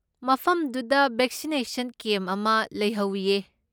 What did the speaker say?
ꯃꯐꯝꯗꯨꯗ vaccination camp ꯑꯃ ꯂꯩꯍꯧꯋꯤꯌꯦ꯫